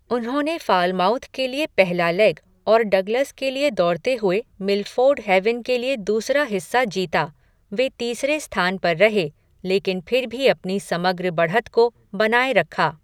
उन्होंने फ़ालमाउथ के लिए पहला लेग और डगलस के लिए दौड़ते हुए मिलफ़ोर्ड हैवन के लिए दूसरा हिस्सा जीता। वे तीसरे स्थान पर रहे, लेकिन फिर भी अपनी समग्र बढ़त को बनाए रखा।